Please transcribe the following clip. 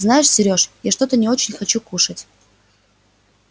знаешь сереж я что-то не очень хочу кушать